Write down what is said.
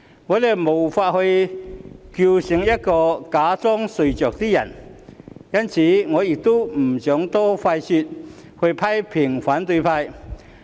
我們無法叫醒一個假裝睡着的人，所以我不想多花唇舌批評反對派。